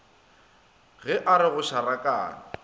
ge a re go šarakane